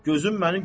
Gözüm üstə.